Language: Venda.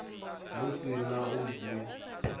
hu si na u dzi